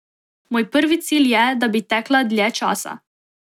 Moj prvi cilj je, da bi tekla dlje časa.